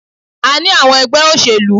A ní àwọn ẹgbẹ́ òṣèlú.